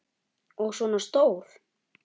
Og svona stór!